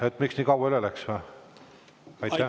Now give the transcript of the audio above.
Et miks nii kaua üle läks või?